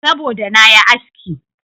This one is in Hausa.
Saboda da na yi aski.